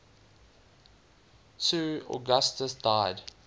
ii augustus died